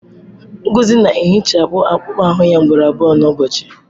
Ngozi na-ehichapụ akpụkpọ ahụ ya ugboro abụọ n'ụbọchị.